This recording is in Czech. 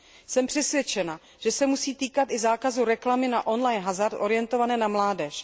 Jsem přesvědčena, že se musí týkat i zákazu reklamy na on line hazard orientované na mládež.